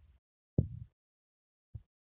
xaafii yeroo dheraaf turuu ni danda'a garuu kan akka boqqolloo yeroo dheeraf hin turu. አየከየኸየ